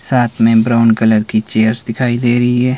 साथ में brown colour की चेयर्स दिखाई दे रही है।